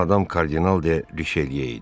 Bu adam kardinal deyil Riçeliyə idi.